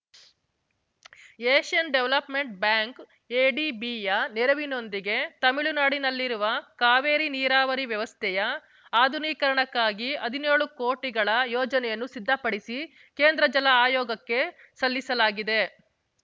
Asian development ಬ್ಯಾಂಕ್‌ಎಡಿಬಿಯ ನೆರವಿನೊಂದಿಗೆ ತಮಿಳುನಾಡಿನಲ್ಲಿರುವ ಕಾವೇರಿ ನೀರಾವರಿ ವ್ಯವಸ್ಥೆಯ ಆಧುನೀಕರಣಕ್ಕಾಗಿ ಹದಿನ್ಯೋಳು ಕೋಟಿಗಳ ಯೋಜನೆಯನ್ನು ಸಿದ್ಧಪಡಿಸಿ ಕೇಂದ್ರ ಜಲ ಆಯೋಗಕ್ಕೆ ಸಲ್ಲಿಸಲಾಗಿದೆ